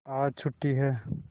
आज छुट्टी है